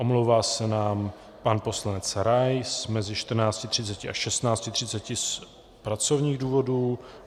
Omlouvá se nám pan poslanec Rais mezi 14.30 a 16.30 z pracovních důvodů.